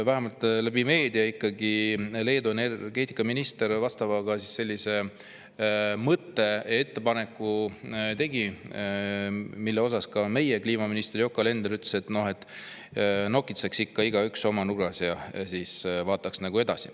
Vähemalt meedias Leedu energeetikaminister vastava mõtte ja ettepaneku tegi, mille kohta meie kliimaminister Yoko Alender ütles, et nokitseks ikka praegu igaüks oma nurgas ja siis vaataks edasi.